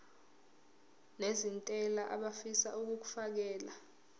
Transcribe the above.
nezentela abafisa uukfakela